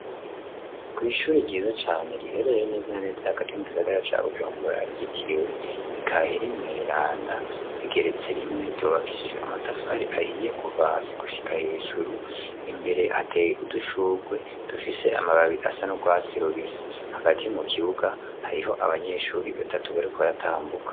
Kw'ishuri ryiza cane riherere neza na neza hagati mu gisagara ca bujungura agitiriwe bikaheri mweranda rigeretse rimwe ryobakishije amatafari ahiye kuvasi gushika hejuru imbere ateye udushurwe dufise amababi asa n'urwatsi rubisi hagati mu kibuga hariho abanyeshuri b'batatu wa yatambuke.